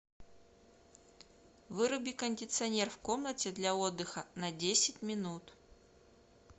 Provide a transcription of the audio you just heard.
выруби кондиционер в комнате для отдыха на десять минут